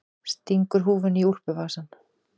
Stingur húfunni í úlpuvasann.